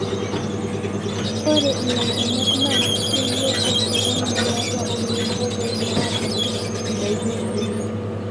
ore ilairemok naa keyieu osokoni liatu oleboo peetum aatimir indaiki enye